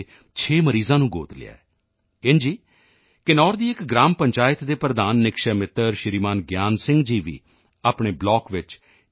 ਦੇ 6 ਮਰੀਜ਼ਾਂ ਨੂੰ ਗੋਦ ਲਿਆ ਹੈ ਇੰਝ ਹੀ ਕਿਨੌਰ ਦੀ ਇੱਕ ਗ੍ਰਾਮ ਪੰਚਾਇਤ ਦੇ ਪ੍ਰਧਾਨ ਨਿਕਸ਼ੈ ਮਿੱਤਰ ਸ਼੍ਰੀਮਾਨ ਗਿਆਨ ਸਿੰਘ ਜੀ ਵੀ ਆਪਣੇ ਬਲਾਕ ਵਿੱਚ ਟੀ